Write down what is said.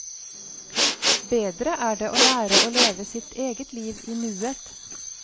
Bedre er det å lære å leve sitt eget liv i nuet.